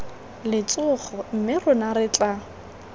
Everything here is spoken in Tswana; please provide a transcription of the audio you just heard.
letsogo mme rona re tla